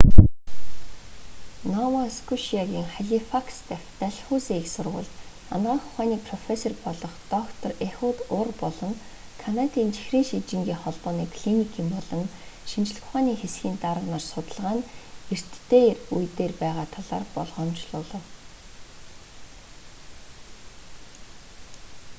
нова скошиагийн халифакс дахь дальхаузи их сургуульд анагаах ухааны профессор болох доктор эхуд ур болон канадын чихрийн шижингийн холбооны клиникийн болон шинжлэх ухааны хэсгийн дарга нар судалгаа нь эрт үе дээрээ байгаа талаар болгоомжлуулав